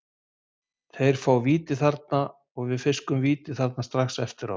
Þeir fá víti þarna og við fiskum víti þarna strax eftir á.